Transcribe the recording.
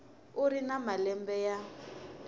u ri na malembe ya